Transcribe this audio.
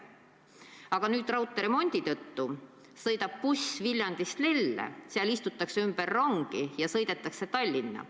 Aga nüüd sõidab raudteeremondi tõttu buss Viljandist Lelle, seal istutakse ümber rongi ja sõidetakse Tallinna.